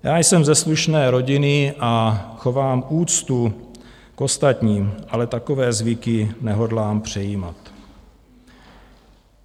Já jsem ze slušné rodiny a chovám úctu k ostatním, ale takové zvyky nehodlám přejímat.